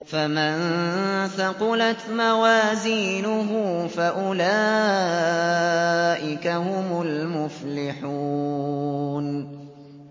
فَمَن ثَقُلَتْ مَوَازِينُهُ فَأُولَٰئِكَ هُمُ الْمُفْلِحُونَ